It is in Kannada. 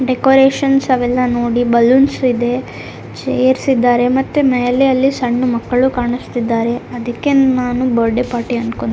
ಡೆಕೋರೇಷನ್ಸ್ ಅವೆಲ್ಲ ನೋಡಿ ಬಲೂನ್ಸ್ ಇದೆ ಚೇರ್ಸ್ ಇದ್ದಾರೆ ಮತ್ತೆ ಮೇಲೆ ಅಲ್ಲಿ ಮಕ್ಕಳು ಕಾಣಿಸ್ತಾ ಇದ್ದಾರೆ ಅದಕ್ಕೆ ನಾನು ಬರ್ತ್ಡೇ ಪಾರ್ಟಿ ಅನ್ಕೊಂಡೆ --